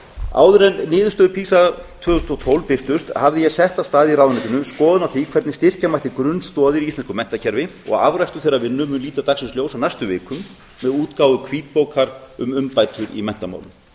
áður en niðurstöður pisa tvö þúsund og tólf birtust hafði ég sett af stað í ráðuneytinu skoðun á því hvernig styrkja mætti grunnstoðir í íslensku menntakerfi og afrakstur þeirrar vinnu mun líta dagsins ljós á næstu vikum með útgáfu hvítbókar um umbætur í menntamálum